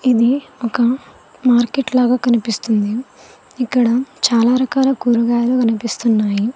ఇది ఒక మార్కెట్ లాగా కనిపిస్తుంది ఇక్కడ చాలా రకాల కూరగాయలు కనిపిస్తున్నాయి.